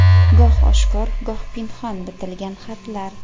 Goh oshkor goh pinhon bitilgan xatlar.